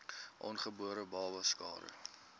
ongebore babas skade